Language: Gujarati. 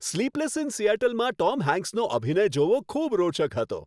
"સ્લીપલેસ ઇન સિએટલ"માં ટોમ હેન્કસનો અભિનય જોવો ખૂબ રોચક હતો.